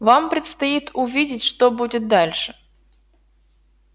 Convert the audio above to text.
вам предстоит увидеть что будет дальше